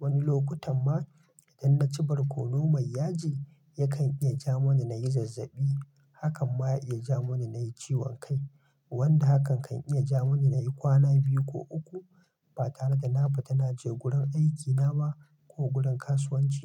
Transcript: Wani lokutan ma idan naci barkono mai yaji, yakan iya ja mun nayi zazzabi. Hakan ma ya iya ja mun nayi ciwon kai, wanda hakan kan iya ja mun nayi kwana biyu ko uku ba tare da na fita na je gurin aiki na ba ko gurin kasuwanci.